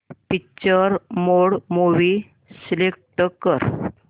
picture mode movie select कर